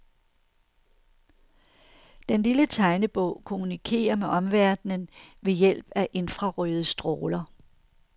Den lille tegnebog kommunikerer med omverdenen ved hjælp af infrarøde stråler.